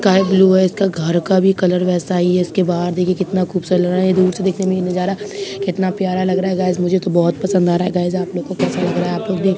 sky blue है इसका घर का कलर भी वैसा ही इसके बाहर देखिए कितना खूबसूरत लग रहा है दूर से देखने में ये नजारा कितना प्यारा लग रहा है गाइज मुझे तो बहुत पसंद आ रहा है गाइज आप लोग को कैसा लग रहा है आप लोग देख --